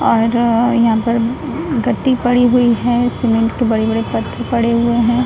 और यहाँ पर गद्दी पड़ी हुई है। सीमेंट के बड़े-बड़े पत्थर पड़े हुए हैं।